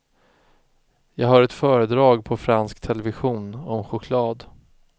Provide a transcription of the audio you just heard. Jag hör ett föredrag på fransk television om choklad.